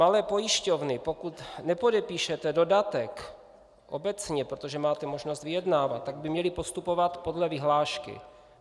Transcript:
Malé pojišťovny, pokud nepodepíšete dodatek obecně, protože máte možnost vyjednávat, tak by měly postupovat podle vyhlášky.